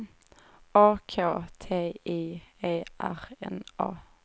A K T I E R N A